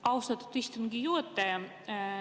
Austatud istungi juhataja!